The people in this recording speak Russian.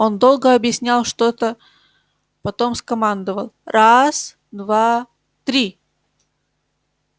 он долго объяснял что-то потом скомандовал раз два три